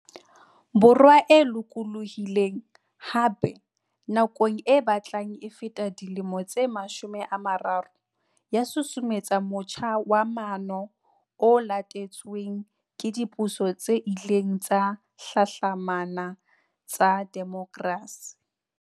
Borwa e lokolohileng, hape, nakong e batlang e feta dilemo tse mashome a mararo, ya susumetsa motjha wa maano o latetsweng ke dipuso tse ileng tsa hlahlamana tsa demokrasi.